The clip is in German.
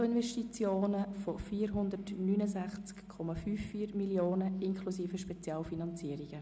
Nettoinvestitionen von 469,54 Mio. Franken inklusive Spezialfinanzierungen;